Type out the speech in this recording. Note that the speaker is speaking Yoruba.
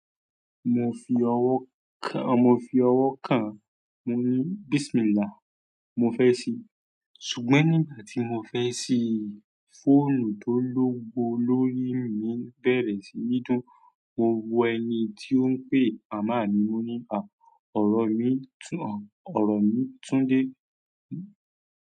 Mo fi ọwọ́ kàn-án, mo ní bismillahi mo fẹ́ si. Ṣùgbọ́n nígbà tí mo fẹ́ ṣí, fóònù tó lówó lórí mi bẹ̀rẹ̀ sí ní dùn, mo wo ẹni tí ó ń pè, màmá mi. Mo ní, àá, ọ̀rọ̀ mi tún, ọ̀rọ̀ mi tún dé.